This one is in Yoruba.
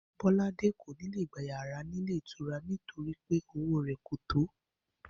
Bó̩ládé kò ní lè gba yàrá nílé ìtura náà nítorí pé owó rè̩ kò tó